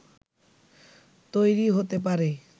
তৈরি হতে পারে